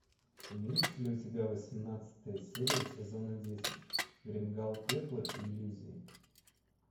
имеется ли у тебя восемнадцатая серия сезона десять гримгал пепла и иллюзий